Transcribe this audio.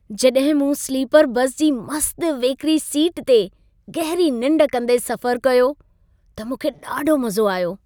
जॾहिं मूं sleeper bus जी मस्त वेकिरी सीट ते गहिरी निंढ कंदे सफ़र कयो, त मूंखे ॾाढो मज़ो आयो।